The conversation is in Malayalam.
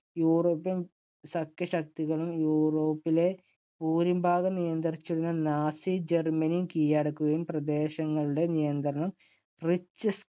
യൂറോപ്യൻ സഖ്യകക്ഷികളും യൂറോപ്പിലെ ഭൂരിഭാഗവും നിയന്ത്രിച്ചിരുന്ന നാസി ജർമ്മനി കീയടക്കുകയും, പ്രദേശങ്ങളുടെ നിയന്ത്രണം റിച്ച്സ്